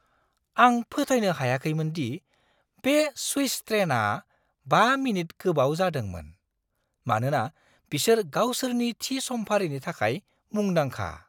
आं फोथायनो हायाखैमोन दि बे स्विस ट्रेनआ 5 मिनिट गोबाव जादोंमोन, मानोना बिसोर गावसोरनि थि समफारिनि थाखाय मुंदांखा!